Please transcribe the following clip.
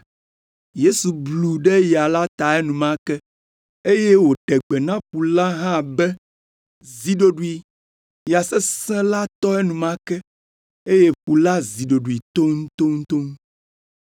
Yesu blu ɖe ya la ta enumake, eye wòɖe gbe na ƒu la hã be, “Zi ɖoɖoe!” Ya sesẽ la tɔ enumake, eye ƒu la zi ɖoɖoe toŋtoŋtoŋ.